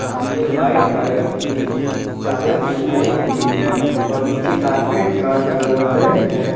हमने white colour की चादर बिछाई हुई है और नीचे कारपेट का कलर रेड है।